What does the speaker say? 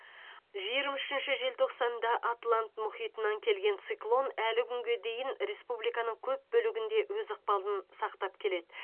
жиырма үшінші желтоқсанда атлант мұхитынан келген циклон әлі күнге дейін республиканың көп бөлігінде өз ықпалын сақтап келеді